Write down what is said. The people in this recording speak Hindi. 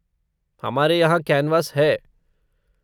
हमारे यहाँ कैनवास है।